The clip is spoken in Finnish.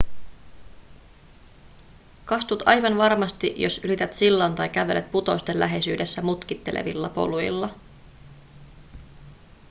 kastut aivan varmasti jos ylität sillan tai kävelet putousten läheisyydessä mutkittelevilla poluilla